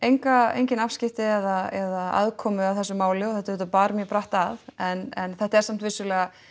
engin afskipti eða aðkomu að þessu máli og þetta auðvitað bar mjög brátt að en þetta er samt vissulega